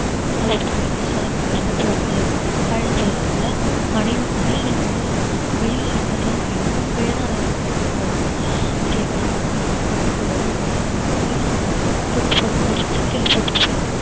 அது ஒரு தனி taste அத நம்ம விடக்கூடாது அப்படின்னு சொல்றதுனால அணி~ அணில் வந்து கொய்யாவுல வந்துட்டு ரெண்டு மூணு கொய்யா தான் அது வரும் வரும் அது எப்படா காய் காய்க்கும் அது எப்படா வரும்னால இத அது வந்து கொறிச்சி கொறிச்சி கீழ போட்டுட்டு போயிடும்